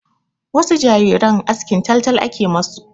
Wasu jariran askin taltal ake ma su.